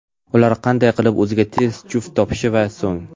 Ular qanday qilib o‘ziga tez juft topishi va so‘ng.